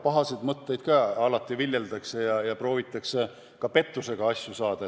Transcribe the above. Pahasid mõtteid ikka viljeldakse ja proovitakse ka pettusega asju ajada.